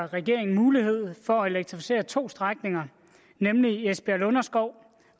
regeringen mulighed for at elektrificere to strækninger nemlig esbjerg lunderskov